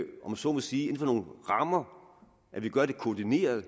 så må sige inden for nogle rammer at vi gør det koordineret